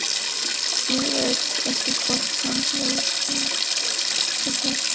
Ég veit ekki hvort hann hefur smakkað það.